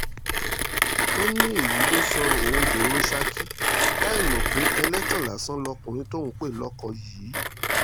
ó ní èyí ló sọ òun dèrò saki láì mọ̀ pé ẹlẹ́tàn lásán lọkùnrin tóun ń pè lóko yìí